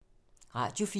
Radio 4